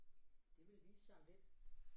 Det vil vise sig om lidt